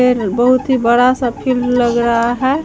ये ल बहुत ही बड़ा सा फील्ड लग रहा हैं।